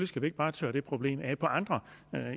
skal vi ikke bare tørre det problem af på andre